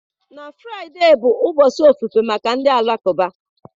Na Fraịdee bụ ụbọchị ofufe maka ndị Alakụba.